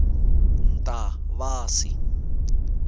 ntavasi